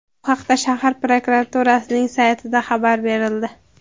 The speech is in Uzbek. Bu haqda shahar prokuraturasining saytida xabar berildi .